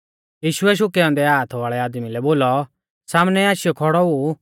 यीशुऐ शुकै औन्दै हाथ वाल़ै आदमी लै बोलौ सामनै आशीयौ खौड़ौ ऊ